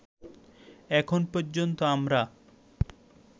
এখন পর্যন্ত আমরা